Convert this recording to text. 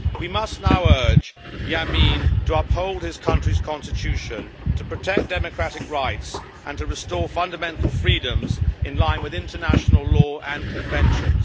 We must now urge Yameen to uphold his country's constitution, to protect democratic rights and to restore fundamental freedoms in line with international law and conventions.